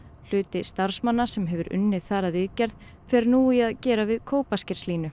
hluti starfsmanna sem hefur unnið þar að viðgerð fer nú í að gera við